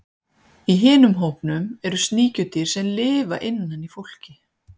Í hinum hópnum eru sníkjudýr sem lifa innan í fólki.